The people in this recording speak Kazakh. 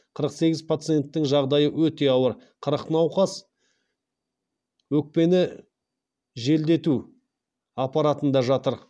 қырық сегіз пациенттің жағдайы өте ауыр қырық науқас өкпені желдету аппаратында жатыр